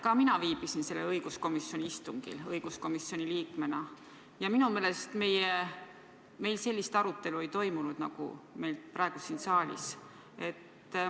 Ka mina viibisin õiguskomisjoni liikmena sellel õiguskomisjoni istungil ja minu meelest meil sellist arutelu ei toimunud, nagu praegu siin saalis on.